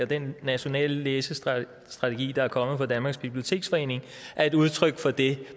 den nationale læsestrategi der er kommet fra danmarks biblioteksforening er et udtryk for det